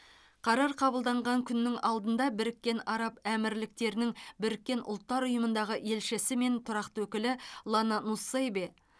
қарар қабылданған күннің алдында біріккен араб әмірліктерінің біріккен ұлттар ұйымындағы елшісі мен тұрақты өкілі лана нуссейбе